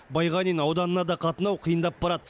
байғанин ауданына да қатынау қиындап барады